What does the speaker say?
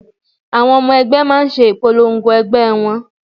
Àwọn ọmọ ẹgbẹ́ máa ń ṣe ìpolongo ẹgbẹ́ wọn